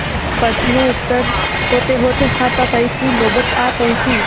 प्रश्नोत्तर होतेहोते हाथापाई की नौबत आ पहुँची